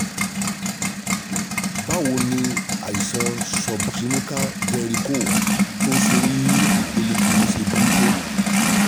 Báwo ni àìsàn subclinical varicoele tó ń ṣe ní ìpele kinni ṣe burú tó?